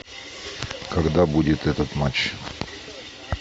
когда будет этот матч